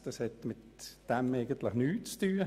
Dies hat mit diesem Vorstoss eigentlich nichts zu tun.